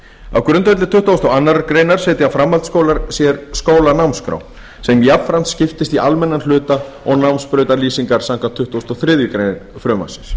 á grundvelli tuttugasta og aðra grein setja framhaldsskólar sér skólanámskrá sem jafnframt skiptist í almennan hluta og námsbrautarlýsingar samkvæmt tuttugustu og þriðju greinar frumvarpsins